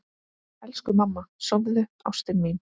Elsku mamma, sofðu, ástin mín.